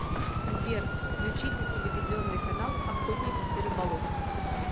сбер включите телевизионный канал охотник и рыболов